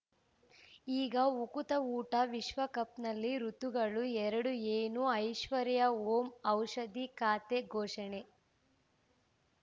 ಈಗ ಉಕುತ ಊಟ ವಿಶ್ವಕಪ್‌ನಲ್ಲಿ ಋತುಗಳು ಎರಡು ಏನು ಐಶ್ವರ್ಯಾ ಓಂ ಔಷಧಿ ಖಾತೆ ಘೋಷಣೆ